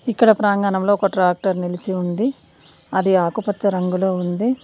ఇక్కడ ప్రాంగణంలో ఒక ట్రాక్టర్ నిలిచి ఉంది అది ఆకుపచ్చ రంగులో ఉంది.